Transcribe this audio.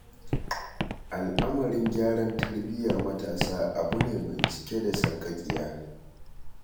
Al'amarin gyaran tarbiyar matasa abu ne mai cike da sarƙaƙiya.